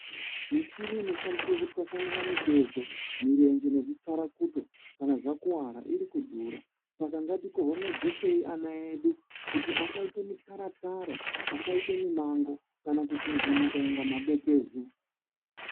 Michini ino. shandiswe kutwasanura mirenje nezvitsvarakuto kana zvakuwara iri kudhura saka ngatikohomedzesei ana edu kuti asaite mityara-tyara, asaite mimango kana kukungunhika kunge madekezo